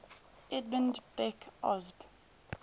edmund beck osb